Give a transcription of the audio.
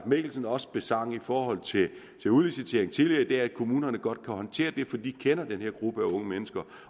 mikkelsen også besang i forhold til udlicitering tidligere i kommunerne godt håndtere for de kender den her gruppe unge mennesker